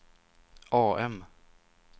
AM